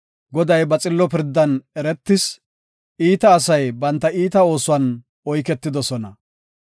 Goday ba xillo pirdan eretis; iita asay banta iita oosuwan oyketidosona. Salah